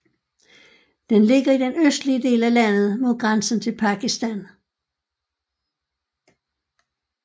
Den ligger i den østlige del af landet mod grænsen til Pakistan